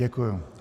Děkuji.